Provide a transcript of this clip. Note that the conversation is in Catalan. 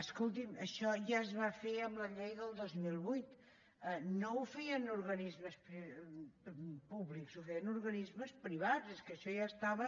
escolti’m això ja es va fer amb la llei del dos mil vuit no ho feien organismes públics ho feien organismes privats és que això ja estava